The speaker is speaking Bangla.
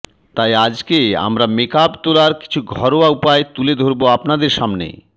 তাই আজকে আমরা মেকআপ তোলার কিছু ঘরোয়া উপায় তুলে ধরব আপনাদের সামনে